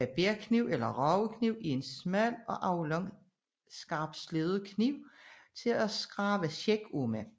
Barberkniv eller ragekniv er en smal og aflang skarpsleben kniv til at skrabe skæg af med